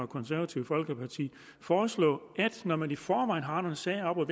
konservative folkeparti foreslå at når man i forvejen har nogle sager oppe